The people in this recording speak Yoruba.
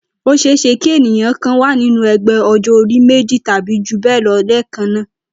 Ó s̩e é s̩e kí ènìyàn kan wà nínú e̩gbé̩ o̩jó̩-orí méjì tàbí jù bé̩è̩ lo̩ lé̩è̩kan náà